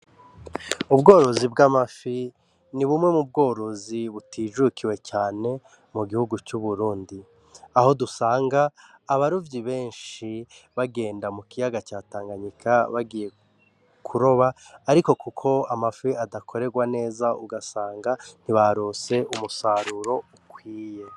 Ubworozi bw'amafi, ni bumwe mu bworozi butijukiwe cane mu gihugu c'uburundi. Aho dusanga abarovyi benshi bagenda mu kiyaga ca Tanganyika bagiye kuroba, ariko kuko amafi adakorerwa neza ugasanga ntibaronse umusaruro ukwiye.